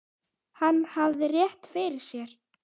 Hann hafði rétt fyrir sér.